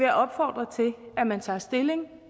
jeg opfordre til at man tager stilling